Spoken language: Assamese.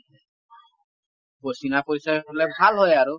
চিনা পৰিচয় হলে ভাল হয় আৰু